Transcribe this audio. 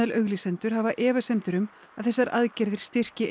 auglýsendur hafa efasemdir um að þessar aðgerðir styrki